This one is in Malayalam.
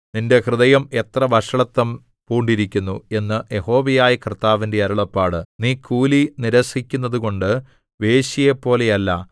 നിന്റെ ഹൃദയം എത്ര വഷളത്വം പൂണ്ടിരിക്കുന്നു എന്ന് യഹോവയായ കർത്താവിന്റെ അരുളപ്പാട് നീ കൂലി നിരസിക്കുന്നതുകൊണ്ട് വേശ്യയെപ്പോലെയല്ല